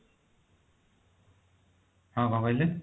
ହଁ କଣ କହିଲେ